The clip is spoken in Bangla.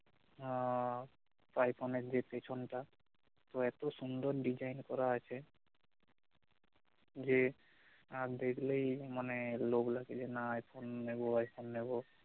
আহ আইফোনের যে পেছনটা তো এত সুন্দর design করা আছে যে আহ দেখলেই মানে লোভ লাগে যে না আইফোন নেব আইফোন নেব